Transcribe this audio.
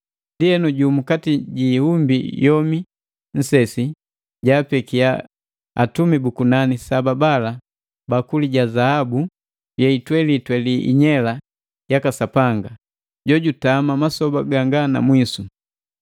Ndienu jumukati ji iumbi yomi nsesi jaapeki atumi bu kunani saba bala bakuli ya zahabu yeitweliitweli inyela yaka Sapanga, jojutama masoba ganga na mwisu.